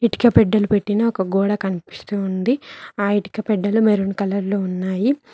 ఇటుక పెట్టెలు పెట్టిన ఒక గోడ కనిపిస్తూ ఉంది ఆ ఇటుక పెట్టెలో మెరూన్ కలర్ లో ఉన్నాయి.